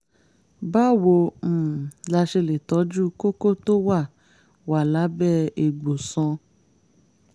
báwo um la ṣe lè tọ́jú kókó tó wà wà lábẹ́ egbò sàn?